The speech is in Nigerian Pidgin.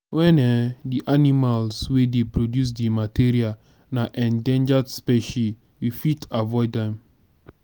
when um di animals wey dey produce di material na endangered specie we fit avoid them